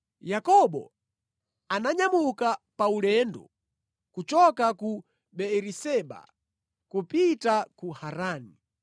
Yakobo ananyamuka pa ulendo kuchoka ku Beeriseba kupita ku Harani.